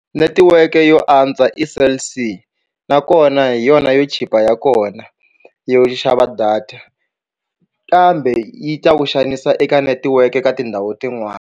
Netiweke yo antswa i Cell C nakona hi yona yo chipa ya kona yo xava data kambe yi ta ku xanisa eka netiweke ka tindhawu tin'wani.